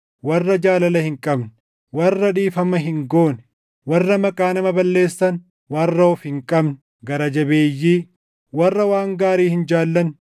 warra jaalala hin qabne, warra dhiifama hin goone, warra maqaa nama balleessan, warra of hin qabne, gara jabeeyyii, warra waan gaarii hin jaallanne,